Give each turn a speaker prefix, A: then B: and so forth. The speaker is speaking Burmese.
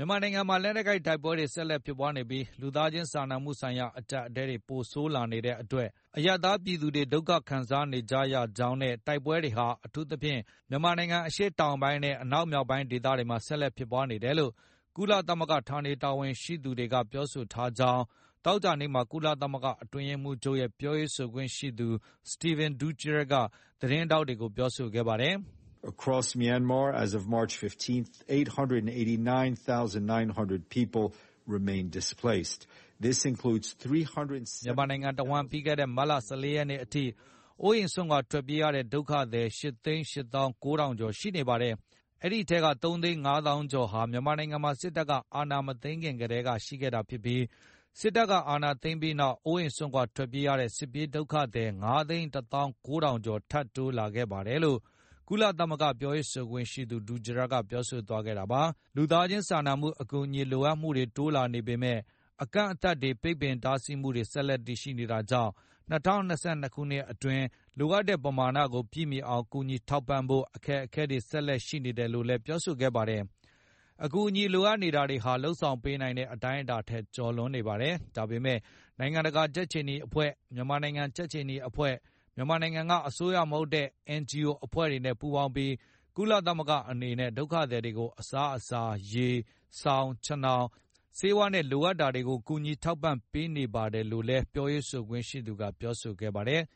A: ြန်မာနိုင်ငံမှာ လက်နက်ကိုင်တိုက်ပွဲတွေဆက်လက်ဖြစ်ပွားနေပြီး၊ လူသားချင်းစာနာမှုဆိုင်ရာအကြပ်အတည်းတွေ ပိုဆိုးလာနေတဲ့အတွက်၊ အရပ်သား ပြည်သူတွေဒုက္ခခံစားနေကြရကြောင်းနဲ့ တိုက်ပွဲတွေဟာ အထူးသဖြင့် မြန်မာနိုင်ငံအရှေ့တောင်ပိုင်းနဲ့ အနောက်မြောက်ဒေသတွေမှာ ဆက်လက်ဖြစ်ပွားနေ တယ်လို့ ကုလသမဂ္ဂဌာနေတာဝန်ရှိသူတွေကပြောဆိုထားကြောင်း သောကြာနေ့မှာ ကုလသမဂ္ဂတွင်းရေးမှုးချုပ်ရဲ့ ပြောရေးဆိုခွင့်ရှိသူ Stephen Dujarric က သတင်းထောက်တွေကိုပြောဆိုခဲ
B: ့ပါတယ်။ “မြန်မာန
A: ိုင်ငံတဝှမ်း ပြီးခဲ့တဲ့ မတ်လ ၁၄ ရက်နေ့အထိ အိုးအိမ်စွန့်ခွါထွက်ပြေး ရတဲ့ဒုက္ခသည် ၈ သိန်း ၈ သောင်း ၉ ထောင်ကျော်ရှိနေပါတယ်။ အဲဒီအထဲက ၃ သိန်း ၅ သောင်းကျော်ဟာ မြန်မာနိုင်ငံမှာ စစ်တပ်က အာဏာမသိမ်းခင်ကတည်းကရှိခဲ့တာဖြစ်ပြီး၊ စစ်တပ်ကအာဏာသိမ်းပြီးနောက် အိုးအိမ်စွန့်ခွါထွက်ပြေးရတဲ့ စစ်ပြေးဒုက္ခသည် ၅ သိန်း ၁သောင်း ၉ ထောင် ကျော်ထပ်တိုးလာခဲ့ပါတယ်လို့” ကုလသမဂ္ဂပြောရေးဆိုခွင့်ရှိသူ Dujarric ကပြောဆိုသွားခဲ့တာပါ။ လူသားချင်း စာနာမှု အကူညီလိုအပ်မှုတွေတိုးလာနေပေမယ့်၊ အကန့်အသတ် တွေပိတ်ပင်တားစီးမှုတွေဆက်လက်ရှိနေတာကြောင့် ၂ဝ၂၂ ခုနှစ်တွင်း လိုအပ်တဲ့ပမာဏကိုပြည့်မီအောင်ကူညီထောက်ပံ့ဖို့ အခက်အခဲတွေဆက်လက်ရှိတယ်လို့လည်းပြောဆိုခဲ့ပါတယ်။ အကူအညီလိုအပ်မှုတွေဟာ လုပ်ဆောင်ပေးနိုင်တဲ့အတိုင်းအတာထက် ကျော်လွန်နေပါတယ်။ ဒါပေမယ့် နိုင်ငံတကာကြက်ခြေနီအဖွဲ့၊ မြန်မာနိုင်ငံ ကြက်ခြေနီအဖွဲ့၊ မြန်မာနိုင်ငံကအစိုးရမဟုတ်တဲ့ NGO အဖွဲ့အစည်းတွေနဲ့ ပူးပေါင်းပြီး၊ ကုလသမဂ္ဂအနေနဲ့ ဒုက္ခသည်တွေကိုအစားအစာ၊ ရေ၊ စောင်၊ ခြင်ထောင်၊ ဆေးဝါးနဲ့လိုအပ်တာတွေကိုကူညီထောက်ပံပေးနေပါတယ်လို့ လည်းပြောရေးဆို ခွင့်ရှိသူကပြောဆိုခဲ့ပါတယ်။